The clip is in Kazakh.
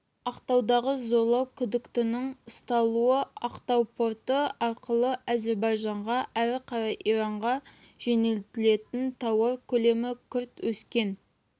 ақтаудағы зорлау күдіктінің ұсталуы ақтау порты арқылы әзербайжанға әрі қарай иранға жөнелтілетін тауар көлемі күрт өскен